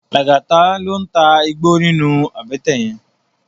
Lagata ló n tá igbó ninú àbètè yèn